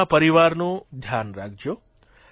પોતાના પરિવારનું ધ્યાન રાખજો